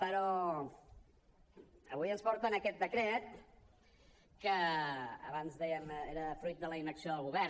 però avui ens porten aquest decret que abans ho dèiem era fruit de la inacció del govern